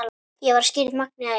Ég var skírð Magnea Elín.